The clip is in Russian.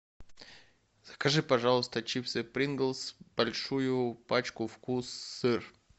закажи пожалуйста чипсы принглс большую пачку вкус сыр